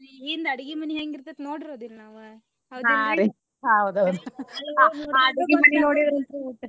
ಹಿಂದ ಅಡ್ಗಿ ಮನಿ ಹೆಂಗ ಇರ್ತೇತಿ ನೋಡಿರಲ್ಲ ನಾವ .